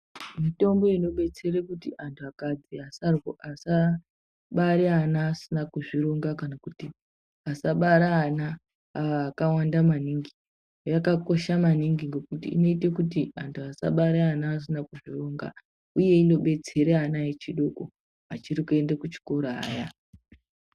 Mitombo inobetsere kuti antu akati asarwa asa bare ana asina kuzvironga kana kuti asabara ana akawanda maningi yakakosha maningi ngekuti inoite kuti antu asabare ana asina kuzvironga uye inodetsera ana echidoko achiri kuende kuchikoro aya.